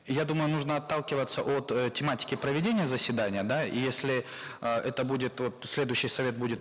я думаю нужно отталкиваться от э тематики проведения заседания да и если э это будет вот следующий совет будет